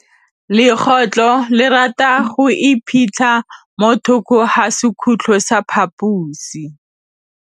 Legôtlô le rata go iphitlha mo thokô ga sekhutlo sa phaposi.